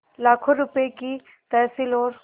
लाखों रुपये की तहसील और